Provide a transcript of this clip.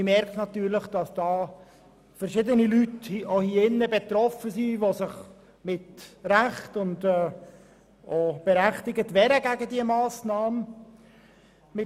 Man merkt natürlich, dass – auch hier in diesem Saal – verschiedene Leute betroffen sind, die sich zu Recht gegen diese Massnahmen wehren.